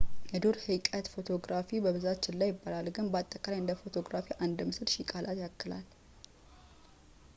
የዱር ህይቀት ፎቶግራፊ በብዛት ችላ ይባላል ግን በአጠቃላይ እንደ ፎቶግራፊ አንድ ምስል ሺህ ቃላትን ያክላል